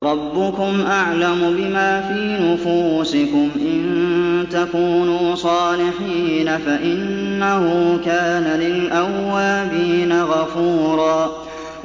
رَّبُّكُمْ أَعْلَمُ بِمَا فِي نُفُوسِكُمْ ۚ إِن تَكُونُوا صَالِحِينَ فَإِنَّهُ كَانَ لِلْأَوَّابِينَ غَفُورًا